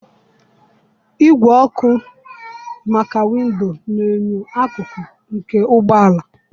Igwe ọkụ maka windo na enyo akụkụ, nke ụgbọ ala.